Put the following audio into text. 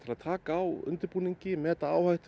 að taka á undirbúningi meta áhættu